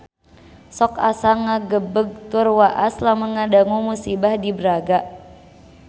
Sok asa ngagebeg tur waas lamun ngadangu musibah di Braga